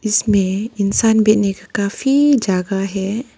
इसमें इंसान बैठने का काफी जगह है।